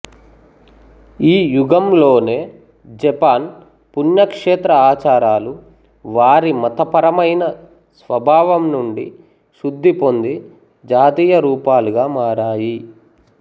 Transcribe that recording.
ఈ యుగంలోనే జపాన్ పుణ్యక్షేత్ర ఆచారాలు వారి మతపరమైన స్వభావం నుండి శుద్ధి పొంది జాతీయ రూపాలుగా మారాయి